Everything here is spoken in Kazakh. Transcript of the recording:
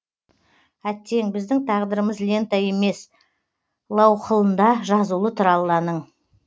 әттең біздің тағдырымыз лента емес лауһылында жазулы тұр алланың